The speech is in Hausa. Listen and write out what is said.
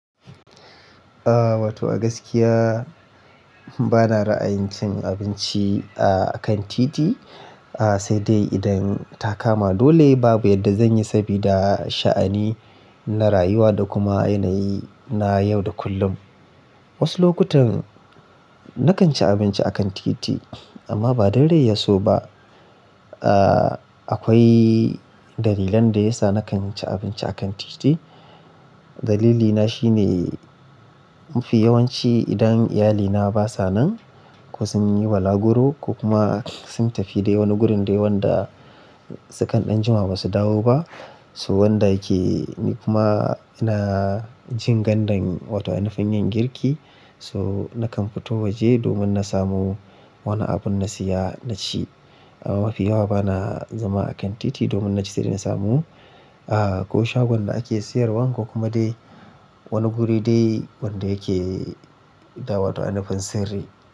Aaa, wato a gaskiya bana ra'ayin cin abinci a kan titi. Aaa, sai dai idan ta kama dole babu yadda zan yi sabida sha'ani na rayuwa da kuma yanayi na yau da kullum. Wasu lokutan nakan ci abinci a kan titi amma ba dan rai ya so ba. Aaa, akwai dalilan da yasa nakan ci abinci a kan titi. Dalili na shine mafi yawanci idan iyalina basa nan ko sun yi balaguro ko kuma sun tafi dai wani gurin dai wanda sukan da jima basu dawo ba. To wanda yake ni kuma ina jin gandan wato in nufin yin girki. To nakan fito waje domin na samo wani abun na siya na ci. Amma mafi yawa bana zama a kan titi domin na ci sai da na samu. Aaa, ko shagon da ake siyarwan ko kuma dai wani guri dai wanda yake da wato a nufin sirri.